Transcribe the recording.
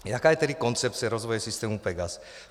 Jaká je tedy koncepce rozvoje systému PEGAS?